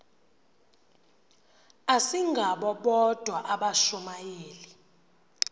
asingabo bodwa abashumayeli